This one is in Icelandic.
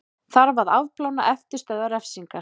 Þarf að afplána eftirstöðvar refsingar